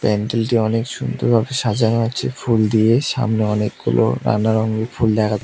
প্যান্ডেলটি অনেক সুন্দর ভাবে সাজানো আছে ফুল দিয়ে সামনে অনেকগুলো নানা রঙের ফুল দেখা--